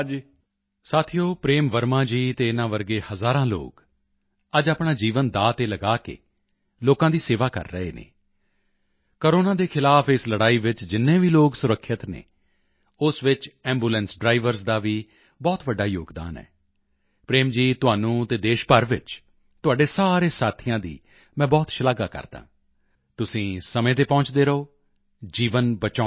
ਸਾਥੀਓ ਪ੍ਰੇਮ ਵਰਮਾ ਜੀ ਅਤੇ ਇਨ੍ਹਾਂ ਵਰਗੇ ਹਜ਼ਾਰਾਂ ਲੋਕ ਅੱਜ ਆਪਣਾ ਜੀਵਨ ਦਾਅ ਤੇ ਲਗਾ ਕੇ ਲੋਕਾਂ ਦੀ ਸੇਵਾ ਕਰ ਰਹੇ ਹਨ ਕੋਰੋਨਾ ਦੇ ਖ਼ਿਲਾਫ਼ ਇਸ ਲੜਾਈ ਵਿੱਚ ਜਿੰਨੇ ਵੀ ਲੋਕ ਸੁਰੱਖਿਅਤ ਹਨ ਉਸ ਵਿੱਚ ਐਂਬੂਲੈਂਸ ਡ੍ਰਾਈਵਰਜ਼ ਦਾ ਵੀ ਬਹੁਤ ਵੱਡਾ ਯੋਗਦਾਨ ਹੈ ਪ੍ਰੇਮ ਜੀ ਤੁਹਾਨੂੰ ਅਤੇ ਦੇਸ਼ ਭਰ ਵਿੱਚ ਤੁਹਾਡੇ ਸਾਰੇ ਸਾਥੀਆਂ ਦੀ ਮੈਂ ਬਹੁਤ ਸ਼ਲਾਘਾ ਕਰਦਾ ਹਾਂ ਤੁਸੀਂ ਸਮੇਂ ਤੇ ਪਹੁੰਚਦੇ ਰਹੋ ਜੀਵਨ ਬਚਾਉਂਦੇ ਰਹੋ